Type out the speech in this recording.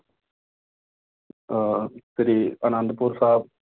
ਅਹ Sri Anandpur ਸਾਹਿਬ